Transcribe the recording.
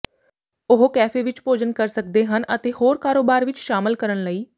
ਉਹ ਕੈਫੇ ਵਿਚ ਭੋਜਨ ਕਰ ਸਕਦੇ ਹਨ ਅਤੇ ਹੋਰ ਕਾਰੋਬਾਰ ਵਿੱਚ ਸ਼ਾਮਲ ਕਰਨ ਲਈ